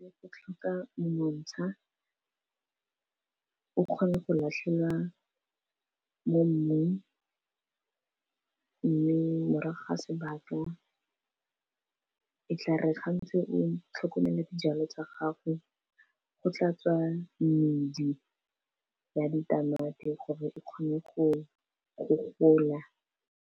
Go tlhoka monontsha, o kgone go latlhela mo mmung. Mme morago ga sebaka e tla re ga ntse o tlhokomela di jalo tsa gago, go tla tswa medi ya di tamati gore e kgone go go gola.